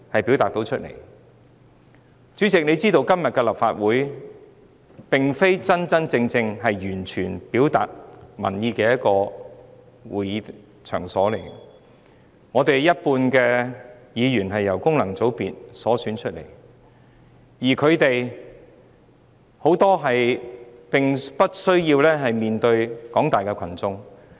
主席應也知道，今天的立法會並非完全能真正表達民意的場所，有半數立法會議員循功能界別選出，他們當中有很多並不需要面對廣大群眾。